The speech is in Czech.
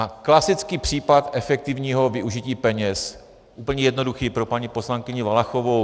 A klasický případ efektivního využití peněz, úplně jednoduchý pro paní poslankyni Valachovou.